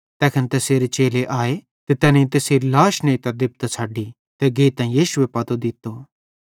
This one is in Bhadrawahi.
तैखन तैसेरे चेले आए ते तैनेईं तैसेरी लाश नेइतां देबतां छ़डी ते गेइतां यीशुए पतो दित्तो